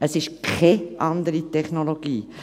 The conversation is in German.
Es ist keine andere Technologie.